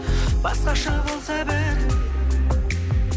басқаша болса бәрі